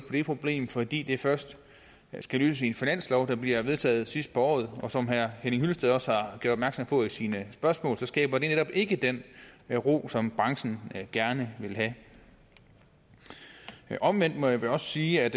det problem fordi det først skal løses i en finanslov der bliver vedtaget sidst på året og som herre henning hyllested også har gjort på i sine spørgsmål skaber det netop ikke den ro som branchen gerne vil have omvendt må jeg vel også sige at